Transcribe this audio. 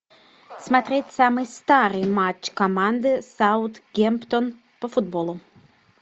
смотреть самый старый матч команды саутгемптон по футболу